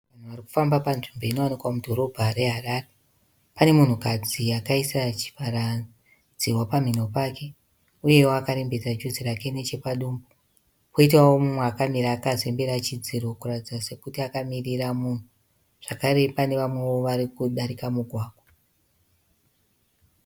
Munhu ari kufamba panzvimbo inowanika mudhorobha reHarare. Pane munhukadzi akaisa chivhara -dzihwa pamhino pake uyewo akarembedza juzi rake nechepadumbu. Poitawo mumwe akamira akazembera chidziro kuratidza sokuti akamirira munhu. Zvakare pane vamwewo vari kudarika mugwagwa.